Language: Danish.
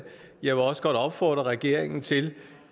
jeg vil også godt opfordre regeringen til